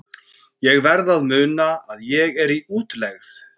Ég verð að muna að ég er í útlegð.